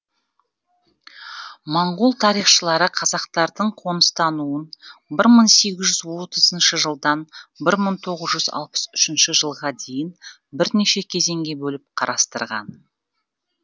моңғол тарихшылары қазақтардың қоныстануын бір мың сегіз жүз отызыншы жылдан бір мың тоғыз жүз алпыс үшінші жылға дейін бірнеше кезеңге бөліп қарастырған